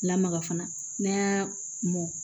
Lamaga fana n'a y'a mɔn